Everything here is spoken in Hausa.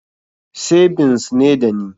Sebins ne dani